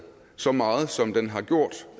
så meget som den har gjort